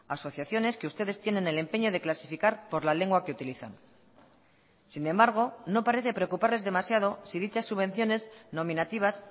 asociaciones que ustedes tienen el empeño de clasificar por la lengua que utilizan sin embargo no parece preocuparles demasiado si dichas subvenciones nominativas